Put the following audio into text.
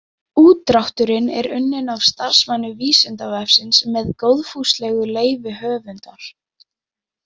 Útdrátturinn er unnin af starfsmanni Vísindavefsins með góðfúslegu leyfi höfundar.